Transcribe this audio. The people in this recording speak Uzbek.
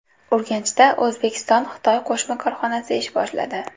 Urganchda O‘zbekistonXitoy qo‘shma korxonasi ish boshladi .